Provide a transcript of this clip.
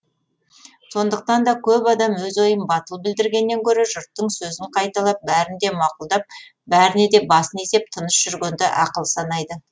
сондықтан да көп адам өз ойын батыл білдіргеннен гөрі жұрттың сөзін қайталап бәрін де мақұлдап бәріне де басын изеп тыныш жүргенді ақыл санайды